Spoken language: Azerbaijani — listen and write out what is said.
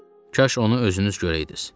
Kaş onu özünüz görəydiniz.